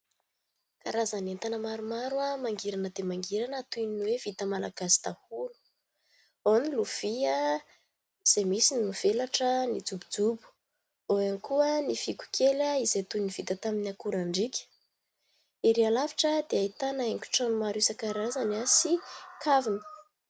Karazan' entana maromaro mangirana dia mangirana toy ny hoe vita malagasy daholo ao ny : lovia izay misy ny mivelatra, ny jobojobo ao ihany koa ny fihogo kely izay toy ny vita tamin'ny akorandrika, ery halavitra dia ahitana haingo trano maro isankarazany sy kavina.